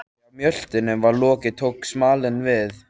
Þegar mjöltunum var lokið tók smalinn við.